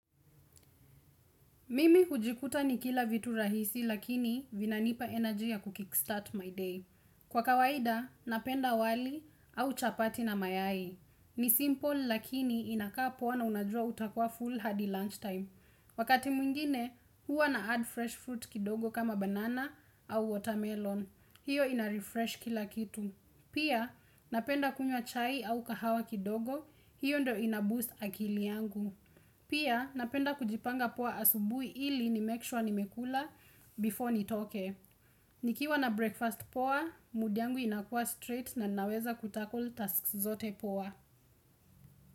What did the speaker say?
Mimi hujikuta nikila vitu rahisi lakini vina nipa energy ya kustart my day. Kwa kawaida, napenda wali au chapati na mayai. Ni simple lakini inakaa poa na unajua utakua full hadi lunchtime. Wakati mwingine, huwa na add fresh fruit kidogo kama banana au watermelon. Hiyo inarefresh kila kitu. Pia, napenda kunywa chai au kahawa kidogo, hiyo ndio inaboost akili yangu. Pia napenda kujipanga poa asubuhi ili nimekisure nimekula before nitoke. Nikiwa na breakfast poa, mudiyangu inakua straight na ninaweza kutakle tasks zote poa.